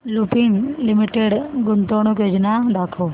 Lupin limited गुंतवणूक योजना दाखव